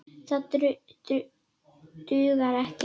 Það dugar ekki.